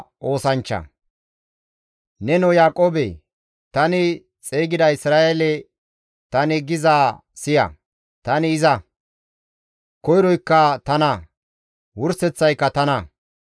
«Nenoo Yaaqoobe, tani xeygida Isra7eele tani gizaa siya. Tani iza; koyroykka tana; wurseththayka tana.